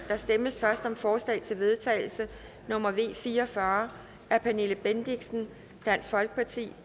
der stemmes først om forslag til vedtagelse nummer v fire og fyrre af pernille bendixen